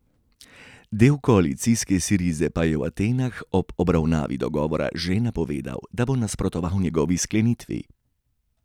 Del koalicijske Sirize pa je v Atenah ob obravnavi dogovora že napovedal, da bo nasprotoval njegovi sklenitvi.